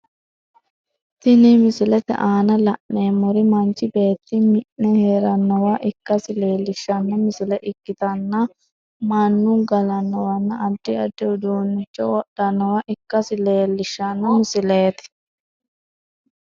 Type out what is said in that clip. Tinni misilete aanna la'neemori manchi beeti mi'ne heeranowa ikasi leelishano misile ikitanna Manu galanowanna addi addi uduunicho wodhanowa ikasi leelishano misileeti.